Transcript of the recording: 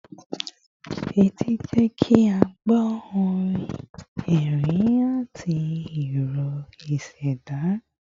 Etí ń jẹ́ kí a gbọ́ orin, ẹ̀rín, àti ìró ìṣẹ̀dá